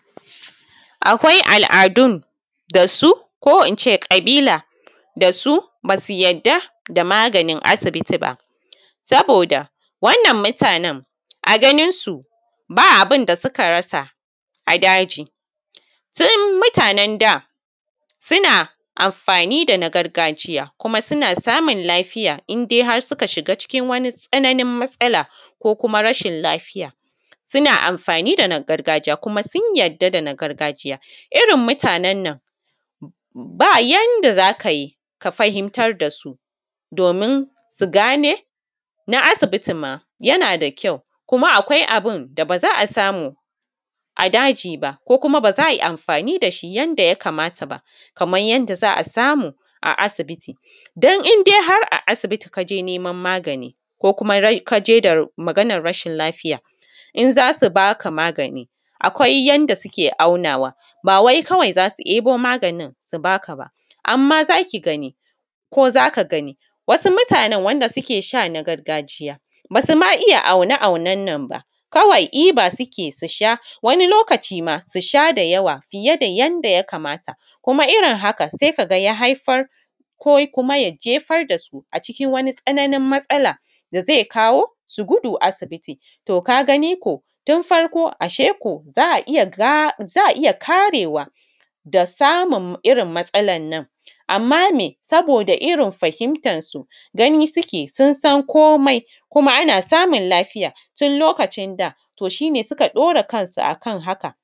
Akawi al’adun dasu ko ince ƙabila dasu basu yadda da maganin asibiti ba, saboda wannan mutanen a ganinsu ba abunda suka rasa a daji. Sai mutanen da suna amfani dana gargajiya kuma suna samun lafiya indai har suka shiga wani tsananni matsala ko kuma rashin lafiya. suna amfani da na gargajiya kuma sun yarda da na gargajiya, irrin mutanan nan ba yanda zakayi ka fahimtar dasu domin su gane na asibiti ma yana da kyau kuma akwai abunda baza’a samu a daji ba ko kuma baza ai amfani dashi yanda ya kamata ba, kaman yanda za’a samu a sibiti dan indai har a sibiti kaje neman magani ko kuma kaje da maganan rashin lafiya, in zasu baka magani akwai yanda suke aunawa bawai zasu yebo maganin sub aka ba. Amma zaki gani ko zaka gani wasu mutanen, wasu mutanen wanda suke sha na gargajiya basu ma iya aune aunennan ba, kawai iba sukeyi susha wani lokaci ma susha da yawa fiye da yanda yakamata kuma irrin haka sai kaga ya haifar ko kuma ya gefar dasu a cikin wani tsananin matsalan dazai kawosu gudu asibiti. Kagani ko tun farko ashe ko za’a iya karewa da samun irrin matsalannan. Amma me saboda irrin fahimtar su gani suke sun san komai kuma ana samun lafiya tun lokacin da to shine suka ɗora kansu akan haka.